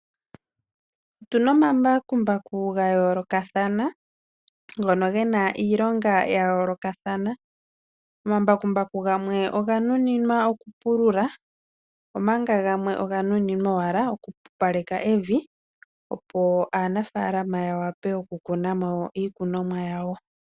Otuna omambakumbaku ga yoolokathana ,ngono gena iilonga ya yoolokathana ,omambakumbaku gamwe oganunimwa owala okupulula omanga gamwe oga nuninwa oku pupaleka evi ,opo aanafalama ya vule okukuna mo iikununwa yawo.